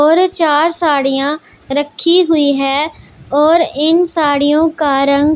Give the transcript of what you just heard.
और चार साड़ियां रखी हुई हैं और इन साड़ियों का रंग--